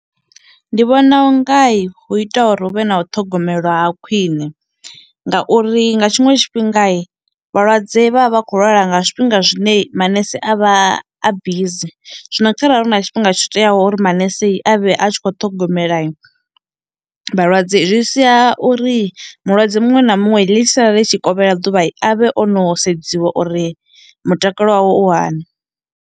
Ndi vhona u ngai hu ita uri hu vhe na u ṱhogomelwa ha khwiṋe ngauri nga tshiṅwe tshifhingai vhalwadze vha vha vha khou lwala nga zwifhinga zwine manese a vha a busy, zwino kharali hu na tshifhinga tsho teaho uri manesei avhe a tshi kho ṱhogomelai vhalwadze zwi sia uri mulwadze muṅwe na muṅwe ḽi tshi sala ḽi tshi kovhela ḓuvha avhe o no sedziwa uri mutakalo wawe u hani.